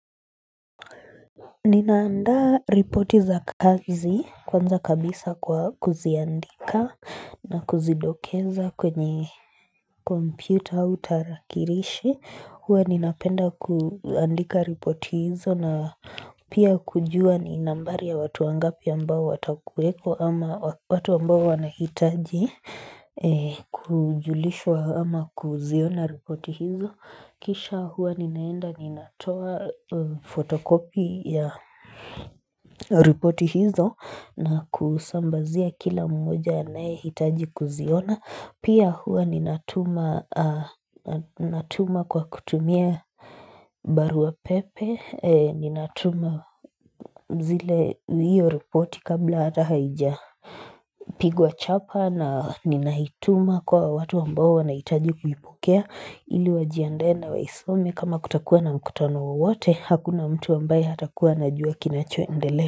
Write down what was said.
Ninaanda ripoti za kazi kwanza kabisa kwa kuziandika na kuzidokeza kwenye Computer au tarakilishi huwa ninapenda kuandika ripoti hizo na pia kujua ni nambari ya watu wangapi ambao watakuwepo ama watu ambao wanahitaji Kujulishwa ama kuziona ripoti hizo kisha huwa ninaenda ninatoa photocopy ya ripoti hizo na kusambazia kila mmoja anayehitaji kuziona. Pia huwa ninatuma natuma kwa kutumia barua pepe ni ninatuma zile hiyo ripoti kabla hata haijapigwa chapa na ninahituma kwa watu ambao wanahitaji kuipokea ili wajiandae waisomi kama kutakuwa na mkutano wowote hakuna mtu ambaye hatakuwa anajua kinachoendele.